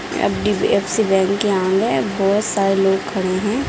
एफ.डी.एफ.सी. Bank यहाँ है बहुत सारे लोग खड़े है।